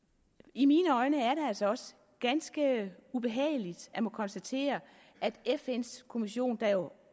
i mine øjne er det altså også ganske ubehageligt at måtte konstatere at fn’s kommission der